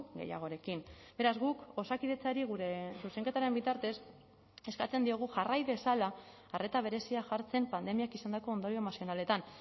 gehiagorekin beraz guk osakidetzari gure zuzenketaren bitartez eskatzen diogu jarrai dezala arreta berezia jartzen pandemiak izandako ondorio emozionaletan